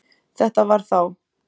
Þetta var þá